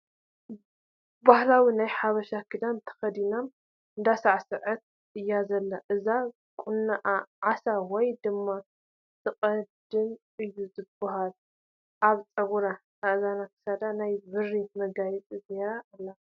ባህላዊ ናይ ሓበሻ ኽዳን ተኸዲና እንዳሳዕሰዓት እያ ዘላ እቲ ቑኖኣ ዓሳ ወይ ድማ ትቕደም እዩ ዝበሃል ኣብ ፀጉራን፣ እዝናን ክሳዳን ናይ ብሪ መጋየፂታት ገይራ ኣላ ።